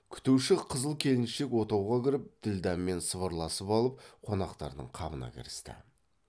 күтуші қызыл келіншек отауға кіріп ділдәмен сыбырласып алып қонақтардың қамына кірісті